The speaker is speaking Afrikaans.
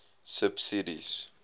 subsidies